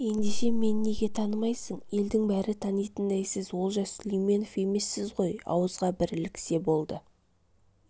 ендеше мен неге танымайсың елдің бәрі танитындай сіз олжас сүлейменов емессіз ғой ауызға бір іліксе болды